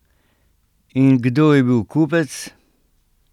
In kdo je bil kupec?